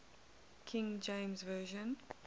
king james version